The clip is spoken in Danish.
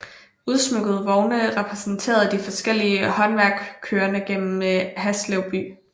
Udsmykkede vogne repræsenterende de forskellige håndværk kører gennem Haslev by